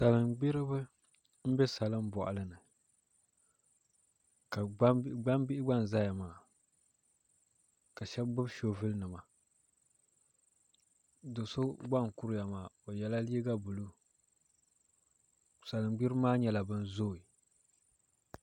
Salin gbiribi n bɛ salin boɣali ni gbambihi gba n ʒɛya maa ka shab gbubi shoovul nima do so gba n kuriya maa o yɛla liiga buluu salin gbiribi maa nyɛla bin zooi